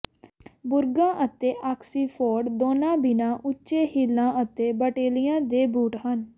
ਬੁਰਗਾਂ ਅਤੇ ਆਕਸੀਫੋਰਡ ਦੋਨਾਂ ਬਿਨਾਂ ਉੱਚੇ ਹੀਲਾਂ ਅਤੇ ਬਾਟੈਲਿਆਂ ਦੇ ਬੂਟ ਹਨ